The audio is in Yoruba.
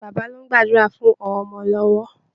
Baba ló ń gbàdúra fún àwọn ọmọ lọ́wọ́